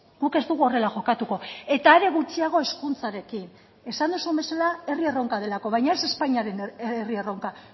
guk ez dugu horrela jokatuko eta are gutxiago hezkuntzarekin esan duzun bezala herri erronka delako baina ez espainiaren herri erronka